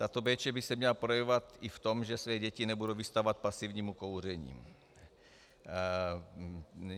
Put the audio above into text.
Tato péče by se měla projevovat i v tom, že své děti nebudou vystavovat pasivnímu kouření.